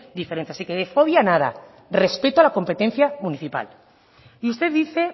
diferentes así que de fobia nada respeto a la competencia municipal y usted dice